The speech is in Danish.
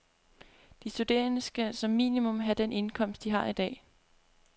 De studerende skal som minimum have den indkomst, de har i dag.